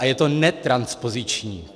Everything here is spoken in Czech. A je to netranspoziční.